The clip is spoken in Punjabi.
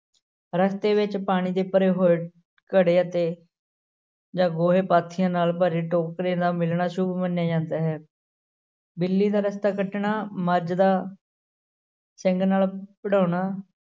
ਰਸ਼ਤੇ ਵਿੱਚ ਪਾਣੀ ਦੇ ਭਰੇ ਹੋਏ ਘੜੇ ਅਤੇ ਜਾਂ ਗੋਹੇ ਪਾਥੀਆਂ ਨਾਲ ਭਰੇ ਟੋਕਰੇ ਦਾ ਮਿਲਣਾ ਸ਼ੁੱਭ ਮੰਨਿਆ ਜਾਂਦਾ ਹੈ ਬਿੱਲੀ ਦਾ ਰਸ਼ਤਾ ਕੱਟਣਾ ਮੱਝ ਦਾ ਸਿੰਙ ਨਾਲ ਭਿੜਾਉਣਾ,